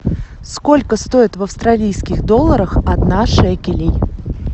сколько стоит в австралийских долларах одна шекелей